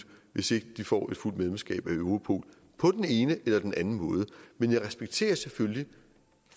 hvis ikke de får et fuldt medlemskab af europol på den ene eller den anden måde men jeg respekterer selvfølgelig